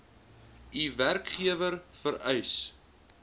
u werkgewer vereis